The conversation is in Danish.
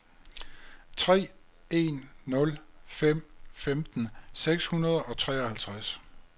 tre en nul fem femten seks hundrede og treoghalvtreds